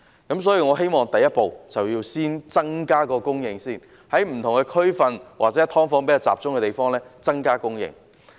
因此，我希望第一步是先增加供應，在不同區份或"劏房"比較集中的地區增加供應。